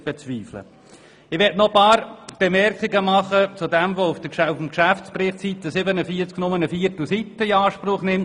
Ich möchte nun noch ein paar Bemerkungen zu einem Punkt machen, der im Geschäftsbericht auf Seite 47 nur eine Viertelseite in Anspruch nimmt.